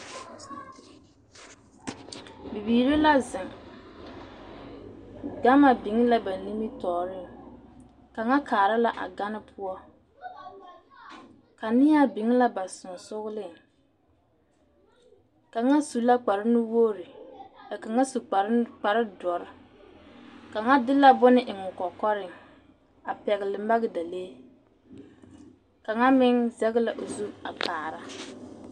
Bibiire la zeŋ gama biŋ la ba nimitooreŋ kaŋa kaara la a gane poɔ kaneɛaa biŋ la ba seŋsugliŋ kaŋa su la kparenuwogre ka kaŋa su kparenu kparedɔre kaŋa de la bone eŋ kɔkɔreŋ a pugle magdalee kaŋa meŋ zɛge la o zu a kaara.